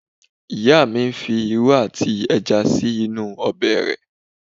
Ìyá mi ń fi irú àti ẹja sí inú ọbẹ̀ rẹ̀